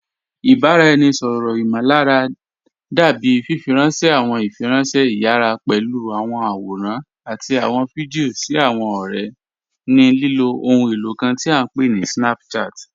Ìbaráẹ̀nisọ̀rọ imọ̀lárà dábì fífírànṣẹ̀ àwọn ìfírànṣẹ̀ ìyàrá pẹ̀lú àwọn àwòrán àti àwọn fídíò sí àwọn ọ̀rẹ̀ ní lilo òhùn elo kàn tí à pé ní Snapchat.